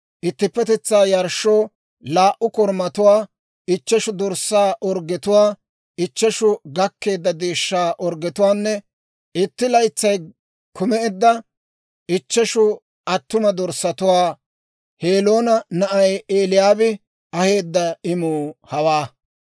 ittippetetsaa yarshshoo laa"u korumatuwaa, ichcheshu dorssaa orggetuwaa, ichcheshu gakkeedda deeshshaa orggetuwaanne itti laytsay kumeedda ichcheshu attuma dorssatuwaa. Heloona na'ay Eli'aabi aheedda imuu hawaa.